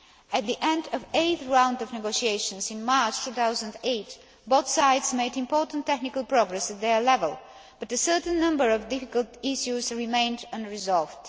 At the end of the eighth round of negotiations in March 2009, both sides made important technical progress at their level, but a certain number of difficult issues remained unresolved.